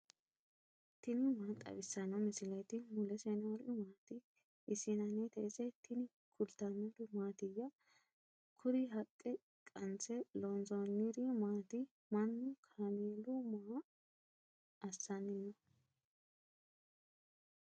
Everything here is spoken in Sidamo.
tini maa xawissanno misileeti ? mulese noori maati ? hiissinannite ise ? tini kultannori mattiya? Kuri haqqe qanise loonasanniri maatti? Manunna kaameelu maa assanni noo?